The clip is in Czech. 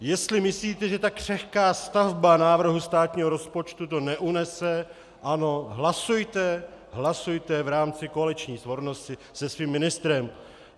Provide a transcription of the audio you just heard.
Jestli myslíte, že tak křehká stavba návrhu státního rozpočtu to neunese, ano, hlasujte, hlasujte v rámci koaliční svornosti se svým ministrem.